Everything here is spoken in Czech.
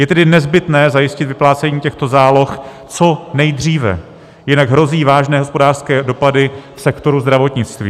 Je tedy nezbytné zajistit vyplácení těchto záloh co nejdříve, jinak hrozí vážné hospodářské dopady sektoru zdravotnictví.